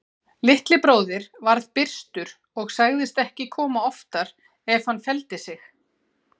Litli bróðir varð byrstur og sagðist ekki koma oftar ef hann feldi sig.